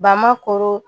Ba ma koro